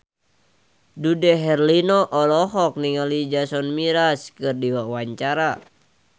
Dude Herlino olohok ningali Jason Mraz keur diwawancara